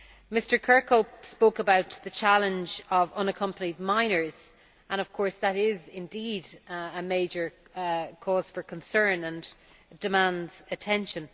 Mr Kirkhope spoke about the challenge of unaccompanied minors and, of course, that is indeed a major cause for concern and demands attention.